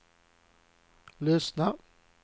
lyssna